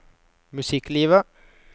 musikklivet